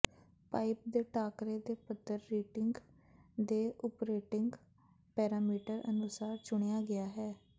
pipe ਦੇ ਟਾਕਰੇ ਦੇ ਪੱਧਰ ਹੀਟਿੰਗ ਦੇ ਓਪਰੇਟਿੰਗ ਪੈਰਾਮੀਟਰ ਅਨੁਸਾਰ ਚੁਣਿਆ ਗਿਆ ਹੈ